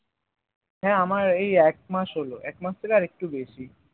হ্যাঁ আমার এই এক মাস হলো এক মাস থেকে আর একটু বেশি